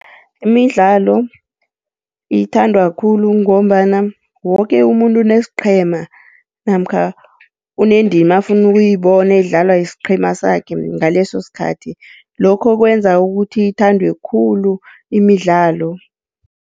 Imidlalo ithandwa khulu ngombana woke umuntu unesiqhema namkha unendima afuna ukuyibona idlalwa yisiqhema sakhe ngaleso sikhathi, lokho kwenza ukuthi ithandwe khulu imidlalo.